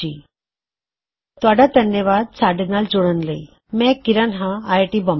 ਅਮਰਿੰਦਰ ਦੁਆਰਾ ਅਨੁਵਾਦਿਤ ਇਸ ਟਯੂਟੋਰਿਅਲ ਨੂੰ ਤੁਸੀ ਕਿਰਣ ਦੀ ਅਵਾਜ਼ ਵਿੱਚ ਸੁਣਿਆ